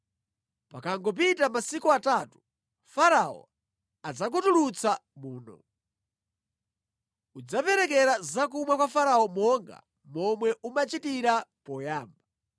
Pakangopita masiku atatu, Farao adzakutulutsa muno. Udzaperekera zakumwa kwa Farao monga momwe umachitira poyamba.